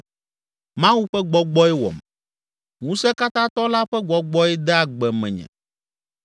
Mawu ƒe gbɔgbɔe wɔm, Ŋusẽkatãtɔ la ƒe gbɔgbɔe de agbe menye,